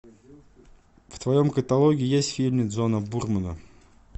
в твоем каталоге есть фильмы джона бурмена